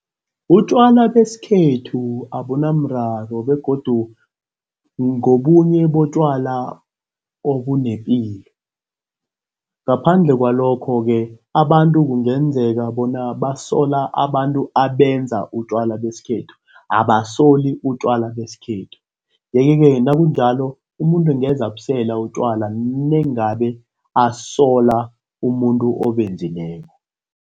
Utjwala besikhethu ubunamraro begodu ngobunye botjwala obunepilo ngaphandle kwalokho-ke, abantu kungenzeka bona basola abantu abenza utjwala besikhethu abasoli utjwala besikhethu, yeke-ke nakunjalo umuntu engenza abusela utjwala nengaba asola umuntu obenzileko.